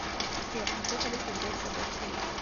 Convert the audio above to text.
сбер какую валюту взять с собой в каир